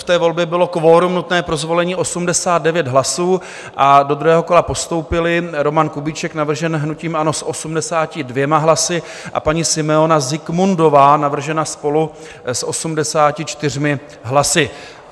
V té volbě bylo kvorum nutné pro zvolení 89 hlasů a do druhého kola postoupili Roman Kubíček, navržen hnutím ANO, s 82 hlasy, a paní Simeona Zikmundová, navržena SPOLU, s 84 hlasy.